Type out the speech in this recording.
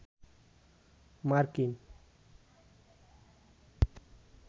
মার্কিন